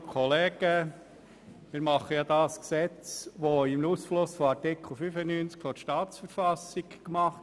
Wir machen hier ein Gesetz, welches Ausfluss aus Artikel 95 der Kantonsverfassung (KV) ist.